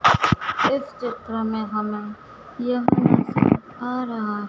इस चित्र में हमें आ रहा--